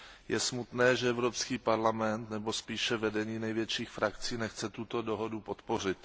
Je smutné, že Evropský parlament nebo spíše vedení největších frakcí nechce tuto dohodu podpořit.